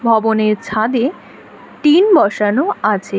ভবনের ছাদে টিন বসানো আছে।